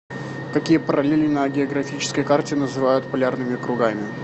какие параллели на географической карте называют полярными кругами